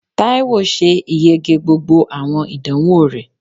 Taiwo ṣe ìyege gbógbó awọn idánwo rẹ